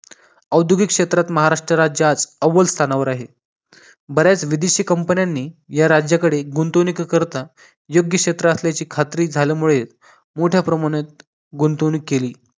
औद्योगिक क्षेत्रात महाराष्ट्र राज्य आज अव्वल स्थानावर आहे. बऱ्याच विदेशी COMPANY न्यांनी या राज्यात गुंतवणुकी करिता योग्य क्षेत्र असल्याची खात्री झाल्यामुळे मोठ्या प्रमाणात गुंतवणूक केली